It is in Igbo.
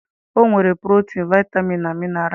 Ọ nwere protin, vitamin na mineral.